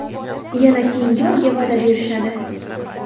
Yana keyingi oyga va’da berishadi.